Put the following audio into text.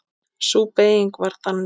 Sú beyging var þannig